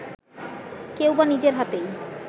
কেউবা নিজের হাতেই